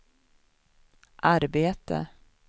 arbete